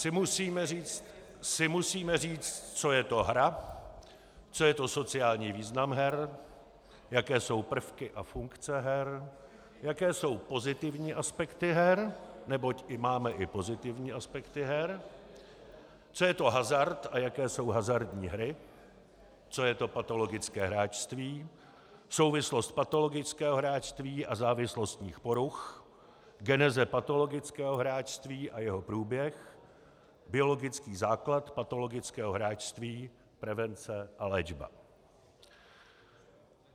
- si musíme říct, co je to hra, co je to sociální význam her, jaké jsou prvky a funkce her, jaké jsou pozitivní aspekty her, neboť máme i pozitivní aspekty her, co je to hazard a jaké jsou hazardní hry, co je to patologické hráčství, souvislost patologického hráčství a závislostních poruch, geneze patologického hráčství a jeho průběh, biologický základ patologického hráčství, prevence a léčba.